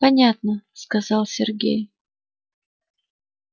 понятно сказал сергей